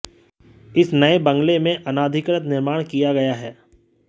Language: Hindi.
इस नए बंगले में अनाधिकृत निर्माण किया गया है